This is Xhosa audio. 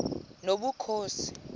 nobukhosi